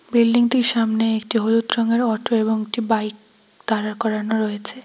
Building টির সামনে একটি হলুদ রঙের অটো এবং একটি বাইক দাঁড়া করানো রয়েছে।